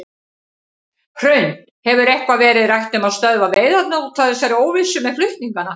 Hrund: Hefur eitthvað verið rætt um að stöðva veiðarnar út af þessari óvissu með flutningana?